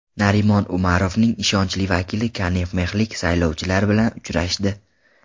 Narimon Umarovning ishonchli vakili konimexlik saylovchilar bilan uchrashdi.